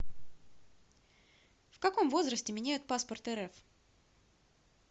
в каком возрасте меняют паспорт рф